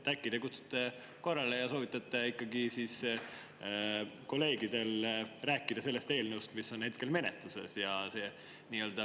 Äkki te kutsute korrale ja soovitate kolleegidel rääkida sellest eelnõust, mis on hetkel menetluses?